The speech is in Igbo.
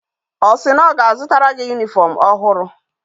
O si na o ga azutatara gi uwe uniform ohuru?